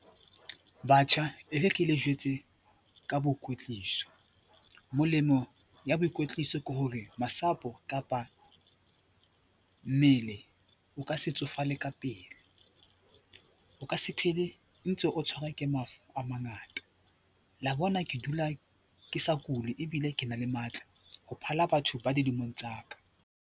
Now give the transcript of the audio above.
Batjha, e re ke le jwetse ka boikwetliso. Molemo ya boikwetliso ke hore masapo kapa mmele o ka se tsofale ka pele, o ka se phele ntse o tshwarwa ke mafu a mangata. La bona ke dula ke sa kule ebile ke na le matla ho phala batho ba dilemong tsa ka.